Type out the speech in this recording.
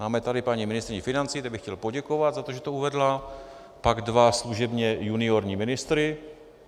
Máme tady paní ministryni financí, té bych chtěl poděkovat za to, že to uvedla, pak dva služebně juniorní ministry.